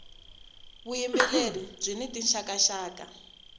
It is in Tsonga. vuyimbeleri byini tinxaka nxaka